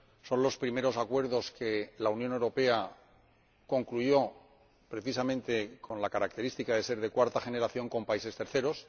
Son los primeros acuerdos que la Unión Europea concluyó precisamente con la característica de ser acuerdos de cuarta generación con países terceros.